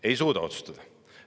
Ei suuda otsustada!